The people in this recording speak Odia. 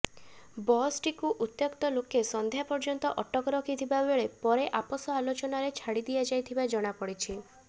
ବସ୍ଟିକୁ ଉତ୍ତ୍ୟକ୍ତ ଲୋକେ ସଂଧ୍ୟା ପର୍ଯ୍ୟନ୍ତ ଅଟକ ରଖିଥିବାବେଳେ ପରେ ଆପୋଷ ଆଲୋଚନାରେ ଛାଡ଼ିିଦିଆଯାଇଥିବା ଜଣାପଡ଼ିଛି